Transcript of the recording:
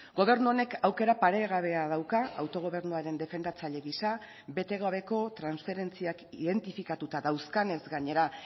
gobernu honek aukera paregabea dauka autogobernuaren defendatzaile gisa bete gabeko transferentziak identifikatuta dauzkanez gainera